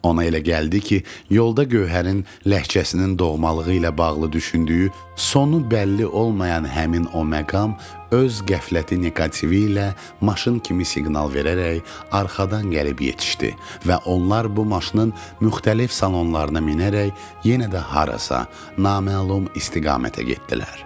Ona elə gəldi ki, yolda Gövhərin ləhcəsinin doğmalığı ilə bağlı düşündüyü sonu bəlli olmayan həmin o məqam öz qəfləti nekativi ilə maşın kimi siqnal verərək arxadan gəlib yetişdi və onlar bu maşının müxtəlif salonlarına minərək yenə də harasa naməlum istiqamətə getdilər.